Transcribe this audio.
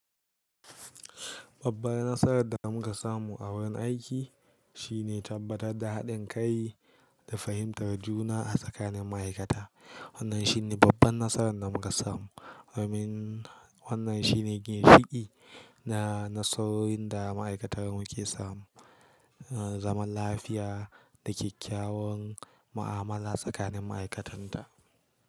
Babbar nasarar da muka samu a wurin aiki shine tabbatar da haɗin kai da fahimtar juna a tsakanin ma'aikata. Wannan shine babban nasarar da muka samu, domin wannan shine gina fiɗi na nasarorin da ma'aikatarmu ke samu. A zaman lafiya da kyakkyawan mu'amala tsakanin ma'aikatanta.